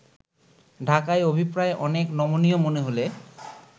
ঢাকার অভিপ্রায় অনেক নমনীয় মনে হলে